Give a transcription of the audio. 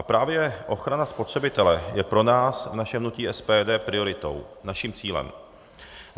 A právě ochrana spotřebitele je pro nás v našem hnutí SPD prioritou, naším cílem.